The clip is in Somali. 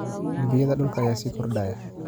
Dembiyada dhulka ayaa sii kordhaya.